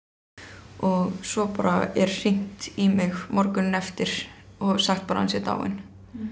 og svo bara er hringt í mig morguninn eftir og sagt bara að hann sé dáinn